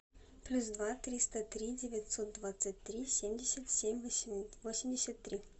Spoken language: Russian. плюс два триста три девятьсот двадцать три семьдесят семь восемьдесят три